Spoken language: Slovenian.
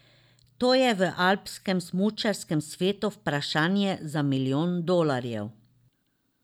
To je v alpskem smučarskem svetu vprašanje za milijon dolarjev.